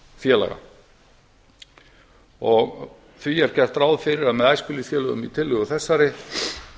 æskulýðsfélaga því er gert ráð fyrir að með æskulýðsfélögum í tillögu þessari